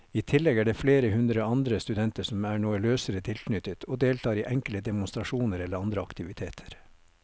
I tillegg er det flere hundre andre studenter som er noe løsere tilknyttet og deltar i enkelte demonstrasjoner eller andre aktiviteter.